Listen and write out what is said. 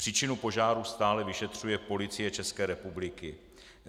Příčinu požáru stále vyšetřuje Policie České republiky.